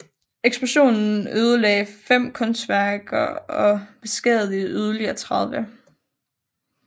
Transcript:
Eksplosionen ødelagde fem kunstværker og beskadigede yderligere 30